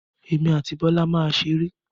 Emi àti Bọ́lá máa ṣeré.